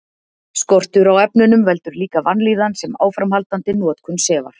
Skortur á efnunum veldur líka vanlíðan sem áframhaldandi notkun sefar.